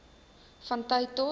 van tyd tot